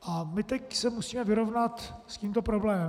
A my teď se musíme vyrovnat s tímto problémem.